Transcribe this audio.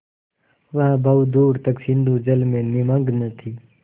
वह बहुत दूर तक सिंधुजल में निमग्न थी